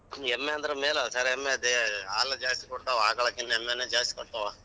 ಎಮ್ಮೆ ಅಂದ್ರ ಮೇಲೆ ಎಮ್ಮೆದೆ ಹಾಲ ಜಾಸ್ತಿ ಕೊಡ್ತಾವ ಆಕಳಕಿನ ಎಮ್ಮೆನೆ ಜಾಸ್ತಿ ಕೊಡ್ತಾವ.